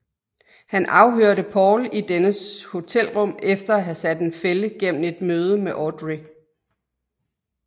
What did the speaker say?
Han afhørte Paul i dennes hotelrum efter at have sat en fælde gennem et møde med Audrey